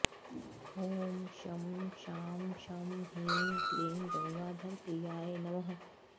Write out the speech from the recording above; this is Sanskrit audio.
ॐ शं शां षं ह्रीं क्लीं गङ्गाधरप्रियाय नमः